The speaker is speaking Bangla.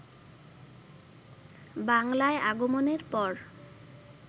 বাংলায় আগমনের পর